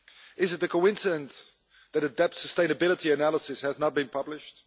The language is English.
Is it a coincidence that a debt sustainability analysis has not been published?